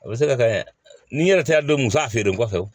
A bɛ se ka kɛ ni yɛrɛ tɛ don muso a feere kɔfɛ